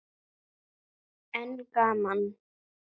En gaman.